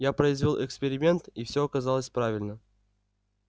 я произвёл эксперимент и всё оказалось правильно